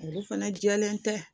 Olu fana jɛlen tɛ